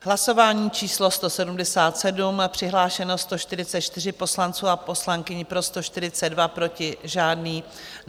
Hlasování číslo 177, přihlášeno 144 poslanců a poslankyň, pro 142, proti žádný.